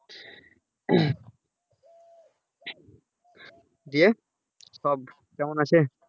দিয়ে সব কেমন আছে?